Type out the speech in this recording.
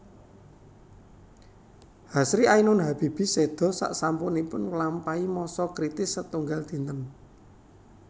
Hasri Ainun Habibie séda sasampunipun nglampahi masa kritis setunggal dinten